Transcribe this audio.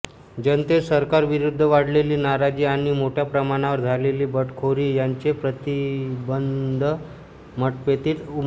जनतेत सरकारविरुद्ध वाढलेली नाराजी आणि मोठया प्रमाणावर झालेली बंडखोरी यांचे प्रतिबिंब मतपेटीत उमटले